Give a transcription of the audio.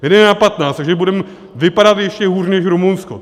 My jdeme na patnáct, takže budeme vypadat ještě hůř než Rumunsko.